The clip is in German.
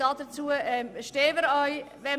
Dazu stehen wir auch.